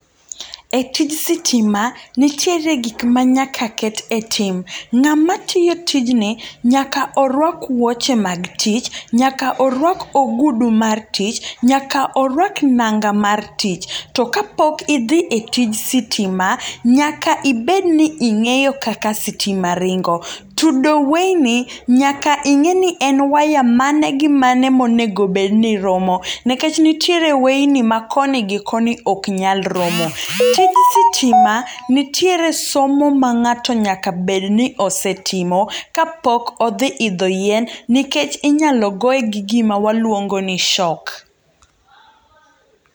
E tij sitima nitiere gik manyaka ket e tim. Ng'ama tiyo tijni nyaka oruak wuoche mag tich, nyaka oruak ogudu mar tich, nyaka oruak nanga mar tich. To ka pok idhi e tij sitima, nyaka ibedni ing'eyo kaka sitima ringo. Tudo weyni nyaka ing'eni en waya mane gi mane monego bedni romo. Nikech nitiere weyni ma koni gi koni oknyal romo. Tij sitima nitiere somo ma ng'ato nyaka bedni osetimo kapok odhi idho yien, nikech inyalogoe gi gima waluongo ni shock.